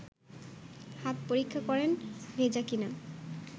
হাত পরীক্ষা করেন ভেজা কি না